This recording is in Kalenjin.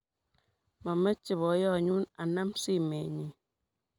Momeche boiyonyu anam simenyi.